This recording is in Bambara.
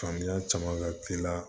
Faamuya caman ka teli la